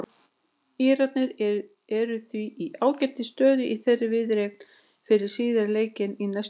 Írarnir eru því í ágætis stöðu í þeirri viðureign fyrir síðari leikinn í næstu viku.